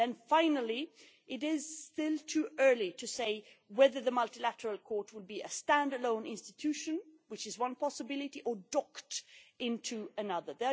Finally, it is still too early to say whether the Multilateral Investment Court would be a stand alone institution, which is one possibility, or docked into another.